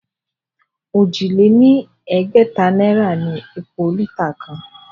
Òjì lé ní ẹgbẹ̀ta náírà ni epo lítà kan